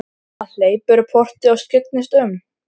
Hann hleypur um portið og skyggnist um.